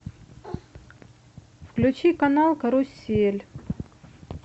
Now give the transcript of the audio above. включи канал карусель